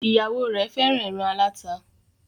Ìyàwó rẹ fẹràn èràn alata.